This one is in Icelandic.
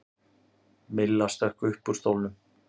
Milla stökk upp úr stólnum.